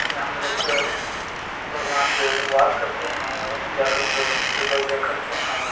यहाँ हमलोग का भगवान जो वास करते है आउ यही जाकर उन लोग पूजा-उजा करते हैं ।